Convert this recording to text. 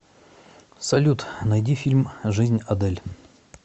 салют найди фильм жизнь адель